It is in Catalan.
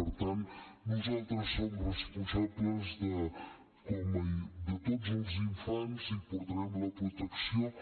per tant nosaltres som responsables de tots els infants i portarem la protecció